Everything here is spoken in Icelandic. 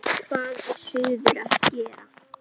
Þinn sonur, Gísli Stefán.